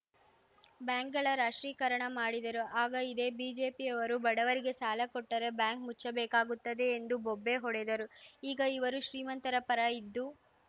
ಬ್ಯಾಂಕ್‌ಗಳ ರಾಷ್ಟ್ರೀಕರಣ ಮಾಡಿದರು ಆಗ ಇದೇ ಬಿಜೆಪಿಯವರು ಬಡವರಿಗೆ ಸಾಲ ಕೊಟ್ಟರೆ ಬ್ಯಾಂಕ್ ಮುಚ್ಚಬೇಕಾಗುತ್ತದೆ ಎಂದು ಬೊಬ್ಬೆ ಹೊಡೆದರು ಈಗ ಇವರು ಶ್ರೀಮಂತರ ಪರ ಇದ್ದು